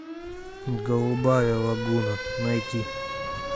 голубая лагуна найти